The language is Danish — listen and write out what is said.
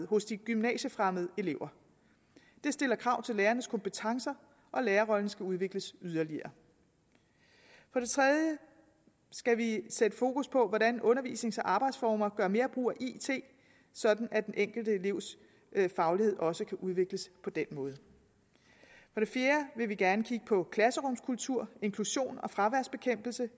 hos de gymnasiefremmede elever det stiller krav til lærernes kompetencer og lærerrollen skal udvikles yderligere for det tredje skal vi sætte fokus på hvordan undervisnings og arbejdsformer gør mere brug af it sådan at den enkelte elevs faglighed også kan udvikles på den måde for det fjerde vil vi gerne kigge på klasserumskultur inklusion og fraværsbekæmpelse